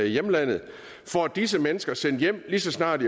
hjemlandet får disse mennesker sendt hjem lige så snart